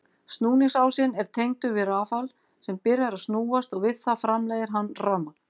Snúningsásinn er tengdur við rafal sem byrjar að snúast og við það framleiðir hann rafmagn.